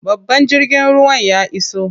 Babban jirgin ruwan ya iso.